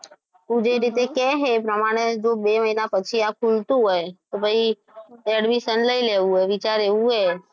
તું જે રીતે કહે છે એ પ્રમાણે બે મહિના પછી આ ખૂલતું હોય તો પછી admission લઈ લેવું છે એવું વિચાર એવો છે.